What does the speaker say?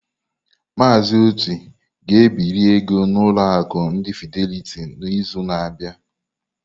Mazị Oti ga ebiri ego n'ụlọ akụ ndi Fideliti n'izu na-abịa.